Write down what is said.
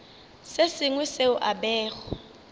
se sengwe seo a bego